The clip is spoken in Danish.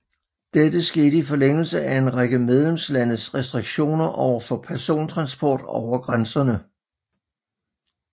Dette skete i forlængelse af en række medlemslandes restriktioner overfor persontransport over grænserne